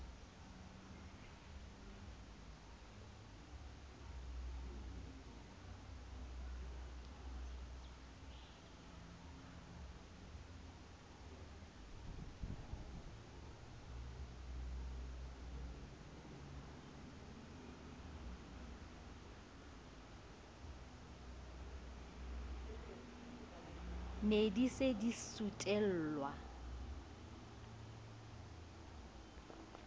be di se di sutelwa